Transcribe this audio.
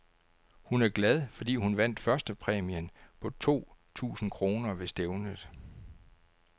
Hun er glad, fordi hun vandt førstepræmien på to tusind kroner ved stævnet.